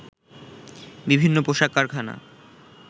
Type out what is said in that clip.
বিভিন্ন পোশাক কারখানা